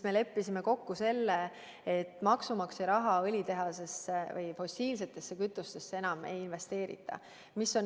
Me leppisime kokku, et maksumaksja raha õlitehasesse ega üldse fossiilsetesse kütustesse enam ei investeerita.